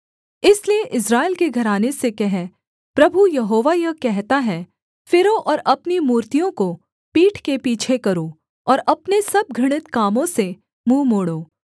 इसलिए इस्राएल के घराने से कह प्रभु यहोवा यह कहता है फिरो और अपनी मूर्तियाँ को पीठ के पीछे करो और अपने सब घृणित कामों से मुँह मोड़ो